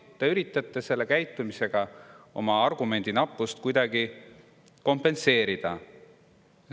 Te üritate selle käitumisega oma argumendinappust kuidagi kompenseerida.